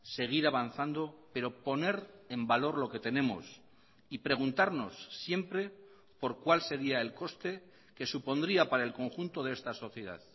seguir avanzando pero poner en valor lo que tenemos y preguntarnos siempre por cuál sería el coste que supondría para el conjunto de esta sociedad